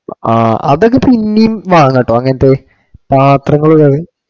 ആ അതൊക്കെ പിന്നേം വാങ്ങാട്ടോ അങ്ങനത്തെ പാത്രങ്ങള്